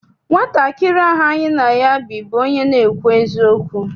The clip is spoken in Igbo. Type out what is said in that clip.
Nwatakịrị ahụ any na ya bi bụ onye na-ekwu eziokwu.